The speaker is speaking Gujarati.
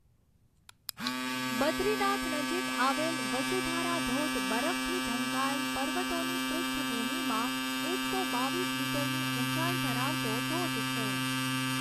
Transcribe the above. બદ્રીનાથ નજીક આવેલ વસુધારા ધોધ બરફથી ઢંકાયેલ પર્વતોની પૃષ્ઠભૂમિમાં એકસો બાવીસ મીટરની ઊંચાઈ ધરાવતો ધોધ છે.